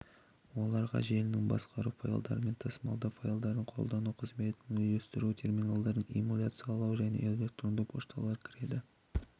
оларға желіні басқару файлдарды тасымалдау файлдарды қолдану қызметін үйлестіру терминалдарды эмуляциялау және электрондық пошталар кіреді